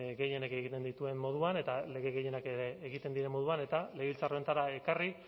gehienek egiten dituen moduan eta lege gehienak egiten diren moduan eta legebiltzar honetara ekarri